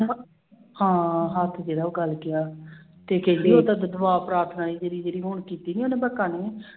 ਹਾਂ ਹੱਥ ਜਿਹੜਾ ਉਹ ਗਲ ਗਿਆ ਤੇ ਕਹਿੰਦੀ ਦਵਾ ਪ੍ਰਾਰਥਨਾ ਹੈ ਜਿਹੜੀ ਜਿਹੜੀ ਹੁਣ ਕੀਤੀ ਸੀ ਉਹਨੇ